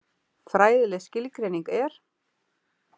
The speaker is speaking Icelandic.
Fræðileg skilgreining er: